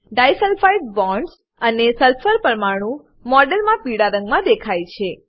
disulphide bonds અને sulphur પરમાણુ મોડેલમાં પીડા રંગમા દેખાય છે